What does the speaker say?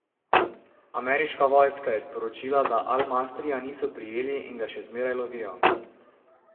Ameriška vojska je sporočila, da Al Masrija niso prijeli in ga še zmeraj lovijo.